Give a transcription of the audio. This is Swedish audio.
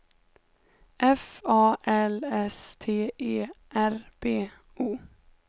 F A L S T E R B O